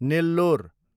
Nellore